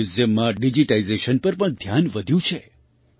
મ્યૂઝિયમમાં digitisation પર પણ ધ્યાન વધ્યું છે